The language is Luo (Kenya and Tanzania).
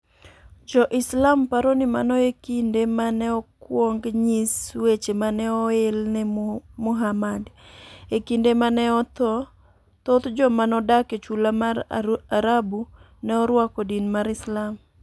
Jo-Islam paro ni mano e kinde ma ne okwong nyis weche ma ne oel ne Muhammad. E kinde ma ne otho, thoth joma nodak e chula mar Arabu ne orwako din mar Islam.